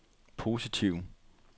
positive